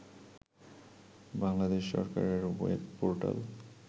বাংলাদেশ সরকারের web portal